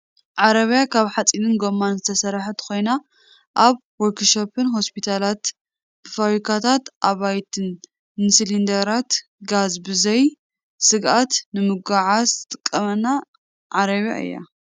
ዓረብያ ካብ ሓፂንን ጎማን ዝተሰረሓት ኮይና፣ ኣብ ወርክሾፕን ሆስፒታላት፣ ፋብሪካታት፣ ኣባይትን ንሲሊንደራት ጋዝ ብዘይ ስግኣት ንምጉዕዓዝ ትጠቅመና ዓረብያ እያ ።